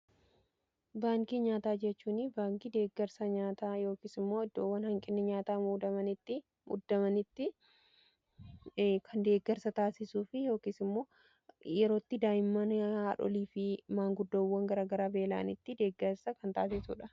Baankii nyaataa jechuun baankii deeggarsa nyaataa yookiis immoo iddoowwan hanqinni nyaataa muddamanitti deeggarsa taasisuu fi yookiis immoo yerootti daa'imman haadholii fi maanguddoowwan garagaraa beela'anitti deggarsa kan taasisu jechuudha.